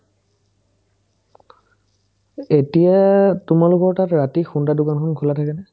এ এতিয়া তোমালোকৰ তাত ৰাতি খুন্দা দোকানখন খোলা থাকে নে ?